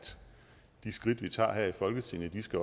de skridt vi tager her i folketinget